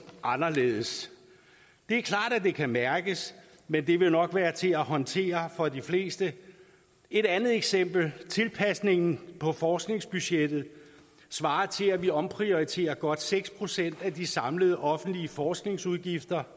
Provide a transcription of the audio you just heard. anderledes det er klart at det kan mærkes men det vil nok være til at håndtere for de fleste et andet eksempel tilpasningen på forskningsbudgettet svarer til at vi omprioriterer godt seks procent af de samlede offentlige forskningsudgifter